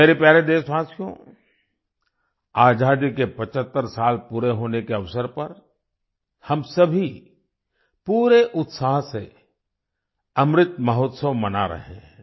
मेरे प्यारे देशवासियो आजादी के 75 साल पूरे होने के अवसर पर हम सभी पूरे उत्साह से अमृत महोत्सव मना रहे हैं